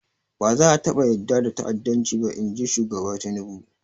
Ba za a taɓa yarda da ta'addanci ba, in ji shugaba Tinubu.